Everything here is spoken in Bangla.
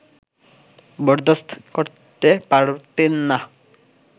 বরদাস্ত করতে পারতেন না